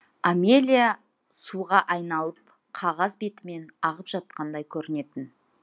амелия суға айналып қағаз бетімен ағып жатқандай көрінетін